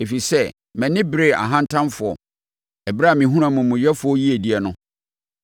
ɛfiri sɛ, mʼani beree ahantanfoɔ ɛberɛ a mehunuu amumuyɛfoɔ yiedie no.